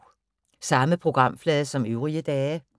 Samme programflade som øvrige dage